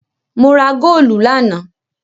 Mo ra góólù lánàá.